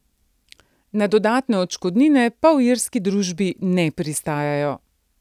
Na dodatne odškodnine pa v irski družbi ne pristajajo.